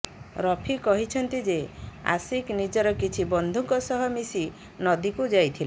ରଫି କହିଛନ୍ତି ଯେ ଆଶିକ ନିଜର କିଛି ବନ୍ଧୁଙ୍କ ସହ ମିଶି ନଦୀକୁ ଯାଇଥିଲେ